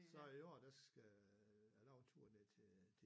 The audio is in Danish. Så i år der skal jeg laver en tur ned til øh